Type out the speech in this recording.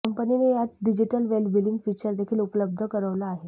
कंपनीने यात digital well being feature देखील उपलब्ध करवलं आहे